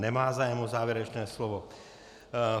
Nemá zájem o závěrečné slovo.